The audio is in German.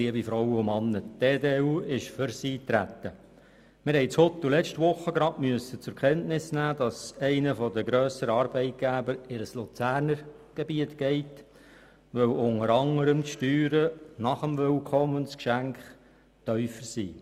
Wir mussten letzte Woche in Huttwil zur Kenntnis nehmen, dass einer der grösseren Arbeitgeber in ein Luzerner Gebiet zieht, weil unter anderem die Steuern nach dem Willkommensgeschenk tiefer sind.